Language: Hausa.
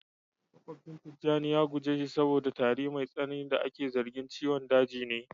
makwabcin tijjani ya guje shi saboda tari mai tsanani da ake zargin ciwon daji ne